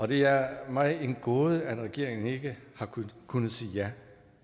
det er mig en gåde at regeringen ikke har kunnet kunnet sige ja